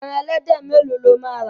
Ẹran ẹlẹ́dẹ̀ mẹ́lòó lo máa rà.